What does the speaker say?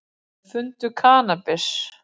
Fundu kannabis